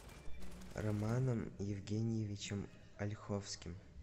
романом евгеньевичем ольховским